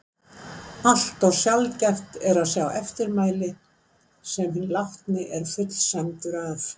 Allt of sjaldgæft er að sjá eftirmæli sem hinn látni er fullsæmdur af.